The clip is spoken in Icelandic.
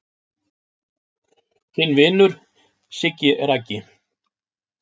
Þinn vinur Siggi Raggi